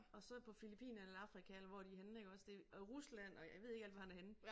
Og så på Filippinerne eller Afrika eller hvor de henne iggås det og Rusland og jeg ved ikke alt hvor han er henne